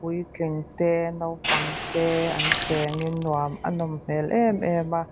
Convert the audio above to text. puitling te naupang te an chengin nuam a nawm hmel em em a.